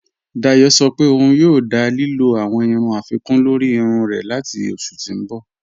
Dáyọ̀ sọ̀ pé ọun yòò dá lílò awọn irun afikun lórí irun rẹ̀ latí oṣù tí n bọ̀.